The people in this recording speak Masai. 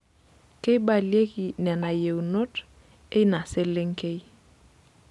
Keibalieki nena yienot eina selenkei.